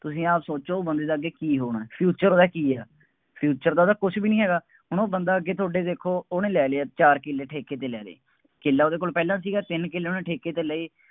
ਤੁਸੀਂ ਆਪ ਸੋਚੋ ਬੰਦੇ ਦਾ ਅੱਗੇ ਕੀ ਹੋਣਾ, future ਉਹਦਾ ਕੀ ਹੈ, future ਤਾਂ ਉਹਦਾ ਕੁੱਛ ਵੀ ਨਹੀਂ ਹੈਗਾ, ਹੁਣ ਉਹ ਬੰਦਾ ਅੱਗੇ ਤੁਹਾਡੇ ਦੇਖੋ ਉਹ ਲੈ ਲਏ ਆ ਚਾਰ ਕਿੱਲੇ ਠੇਕੇ ਤੇ, ਲੈ ਲਏ, ਕਿੱਲਾ ਉਹਦੇ ਕੋਲ ਪਹਿਲਾਂ ਸੀਗਾ, ਤਿੰਨ ਕਿੱਲੇ ਉਹਨੇ ਠੇਕੇ ਤੇ ਲਏ,